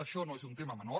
això no és un tema menor